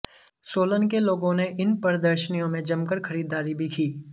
सोलन के लोगों ने इन प्रदर्शनियों में जमकर खरीददारी भी की